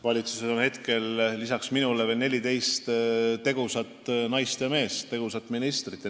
Valitsuses on lisaks minule veel 14 tegusat naist ja meest, tegusat ministrit.